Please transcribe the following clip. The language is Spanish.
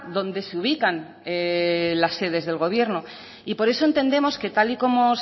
donde se ubican las sedes del gobierno por eso entendemos que tal y como